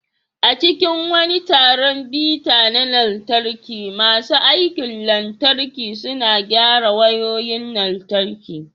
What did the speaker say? A cikin wani taron bita na lantarki, masu aikin lantarki suna gyara wayoyin lantarki.